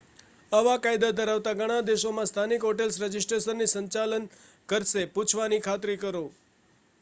આવા કાયદા ધરાવતા ઘણા દેશોમાં સ્થાનિક હોટેલ્સ રજિસ્ટ્રેશનનું સંચાલન કરશે પૂછવાની ખાતરી કરો